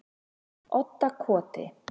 Oddakoti